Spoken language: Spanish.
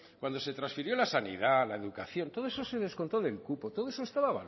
cuando se transfirió la sanidad la educación todo eso se descontó del cupo todo eso estaba